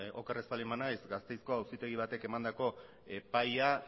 oker ez baldin banaiz gasteizko auzitegi batek emandako epaia